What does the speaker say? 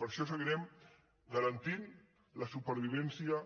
per això seguirem garantint la supervivència